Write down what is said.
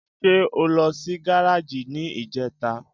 Ṣé o lọ sí gáràjì ní ìjẹta?